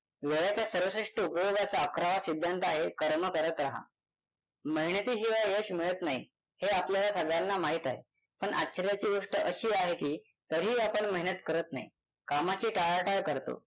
वेळाच्या सर्वश्रेष्ठ उपयोगाचा अकरावा सिद्धांत आहे कर्म करत राहा मेहनतीशिवाय यश मिळत नाही हे आपल्याला सगळ्यांना माहीत आहे. पण आश्चर्याची गोष्ट अशी आहे की तरीही आपण मेहनत करत नाही कामाची टाळाटाळ करतो